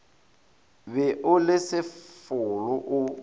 be o le sefolo o